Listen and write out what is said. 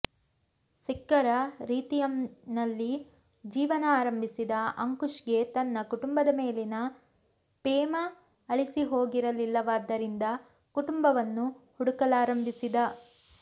ಸಿಖ್ಖರ ರೀತಿಂುುಲ್ಲಿ ಜೀವನ ಆರಂಬಿಸಿದ ಅಂಕುಶ್ಗೆ ತನ್ನ ಕುಟುಂಬದ ಮೇಲಿನ ಪೇಮ ಅಳಿಸಿಹೋಗಿರಲಿಲ್ಲವಾದ್ದರಿಂದ ಕುಟುಂಬವನ್ನು ಹುಡುಕಲಾರಂಬಿಸಿದ